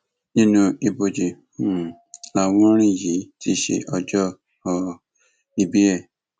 inú ibojì um lawùnrin yìí ti ṣe ọjọ um ìbí ẹ